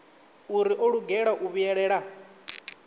uri o lugela u vhuyelela